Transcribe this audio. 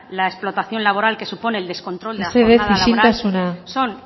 la explotación laboral que supone el descontrol de la jornada laboral mesedez isiltasuna son